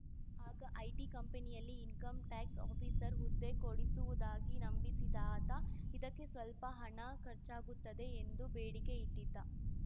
ಆಗ ಐಟಿ ಕಂಪನಿಯಲ್ಲಿ income tax officer ಹುದ್ದೆ ಕೊಡಿಸುವುದಾಗಿ ನಂಬಿಸಿದ ಆತ ಇದಕ್ಕೆ ಸ್ಪಲ್ಪ ಹಣ ಖರ್ಚಾಗುತ್ತದೆ ಎಂದು ಬೇಡಿಕೆ ಇಟ್ಟಿದ್ದ